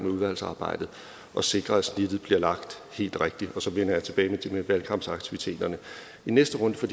udvalgsarbejdet at sikre at snittet bliver lagt helt rigtigt og så vender jeg tilbage til det med valgkampsaktiviteterne i næste runde for